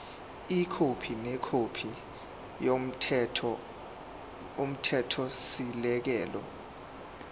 ikhophi nekhophi yomthethosisekelo